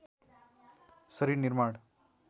शरीर निर्माण